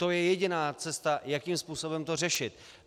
To je jediná cesta, jakým způsobem to řešit.